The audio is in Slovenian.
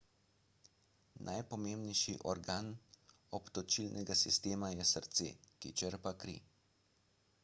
najpomembnejši organ obtočilnega sistema je srce ki črpa kri